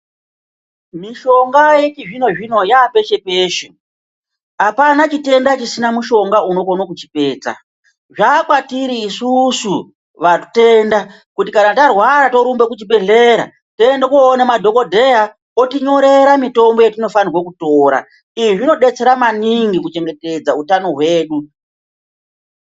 Mishonga yechizvinozvino yapeshe -peshe apana chitenda chisina mushonga unokone kuchipedza. Zvakwatiri isusu vatenda kuti kana tarwara torumbe kuchibhehleya toende koone madhokodheya otinyorera mitombo yatinofanire kutora izvi zvinodetsera maningi kuchengetedza utano hwedu.